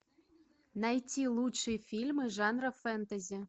найти лучшие фильмы жанра фэнтези